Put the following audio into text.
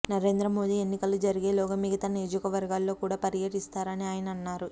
నరేంద్ర మోదీ ఎన్నికలు జరిగేలోగా మిగతా నియోజకవర్గాల్లో కూడా పర్యటిస్తారని ఆయన అన్నారు